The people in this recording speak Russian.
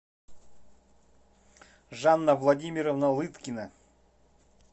жанна владимировна лыткина